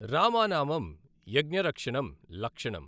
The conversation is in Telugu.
రామానామం యజ్ఞరక్షణం లక్షణం।